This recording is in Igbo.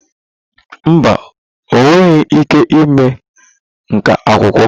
Mba, ọ nweghị ike ịme nkà akwụkwọ.